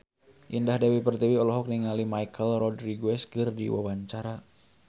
Indah Dewi Pertiwi olohok ningali Michelle Rodriguez keur diwawancara